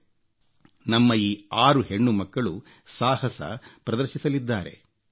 ಸಮುದ್ರದ ಅಲೆಗಳ ನಡುವೆ ನಮ್ಮ ಈ 6 ಹೆಣ್ಣುಮಕ್ಕಳು ಸಾಹಸ ಪ್ರದರ್ಶಿಸಲಿದ್ದಾರೆ